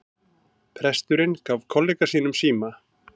Presturinn gefur kollega sínum síma